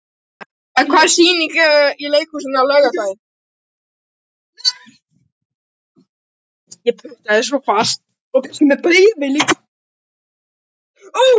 Bergrín, hvaða sýningar eru í leikhúsinu á laugardaginn?